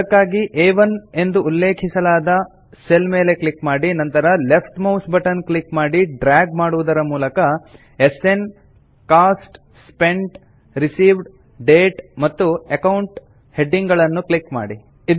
ಅದಕ್ಕಾಗಿ ಆ1 ಎಂದು ಉಲ್ಲೆಖಿಸಲಾದ ಸೆಲ್ ಮೇಲೆ ಕ್ಲಿಕ್ ಮಾಡಿ ನಂತರ ಲೆಫ್ಟ್ ಮೌಸ್ ಬಟನ್ ಕ್ಲಿಕ್ ಮಾಡಿ ಡ್ರಾಗ್ ಮಾಡುವುದರ ಮೂಲಕ SN cost spent received date ಮತ್ತು ಅಕೌಂಟ್ ಹೆಡಿಂಗ್ ಗಳನ್ನು ಕ್ಲಿಕ್ ಮಾಡಿ